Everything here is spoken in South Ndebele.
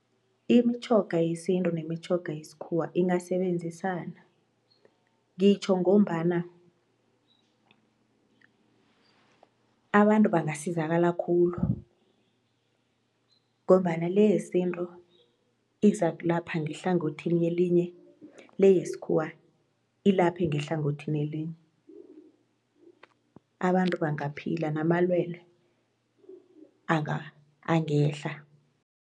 Imitjhoga yesintu nemitjhoga yesikhuwa ingasebenzisana, ngitjho ngombana abantu bangasizakala khulu ngombana le yesintu izakulapha ngehlangothini elinye le yesikhuwa ilaphe ngehlangothini elinye abantu bangaphila namalwelwe angehla.